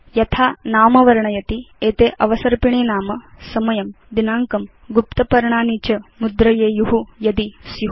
यथा नाम वर्णयति एते अवसर्पिणीनाम समयं दिनाङ्कं गुप्त पर्णानि च मुद्रयेयु यदि स्यु